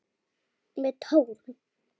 Með tárum.